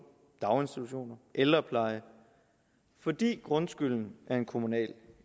daginstitutioner ældrepleje fordi grundskylden er en kommunal